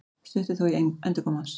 Stutt er þó í endurkomu hans